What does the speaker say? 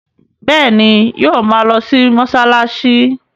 Bẹ́ẹ̀ ni, yóò ma lọ mọ́ṣáláṣí.